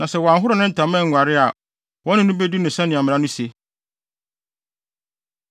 Na sɛ wanhoro ne ntama anguare a, wɔne no bedi no sɛnea mmara no se.’ ”